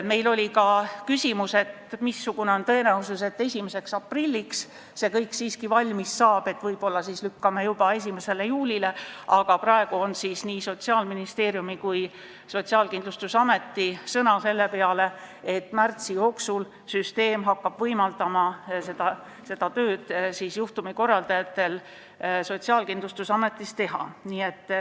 Meil oli ka küsimus, missugune on tõenäosus, et 1. aprilliks see kõik siiski valmis saab, et võib-olla lükkame edasi juba 1. juulile, aga praegu on meil nii Sotsiaalministeeriumi kui ka Sotsiaalkindlustusameti sõna selle peale, et märtsi jooksul hakkab süsteem võimaldama juhtumikorraldajatel seda tööd Sotsiaalkindlustusametis teha.